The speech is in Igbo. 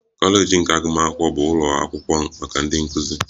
Kọleji nke agụmakwụkwọ bụ ụlọ akwụkwọ maka ịzụ ndị nkụzi